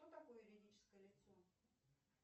кто такой юридическое лицо